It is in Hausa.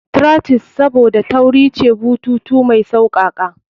Trachea's Saboda tauri ce, bututu mai sassauƙa.